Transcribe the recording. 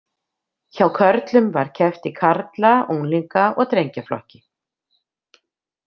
Hjá körlum var keppt í karla-, unglinga- og drengjaflokki.